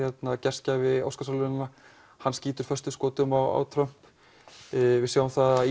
gestgjafi Óskarsverðlaunanna hann skýtur föstum skotum á Trump við sjáum það að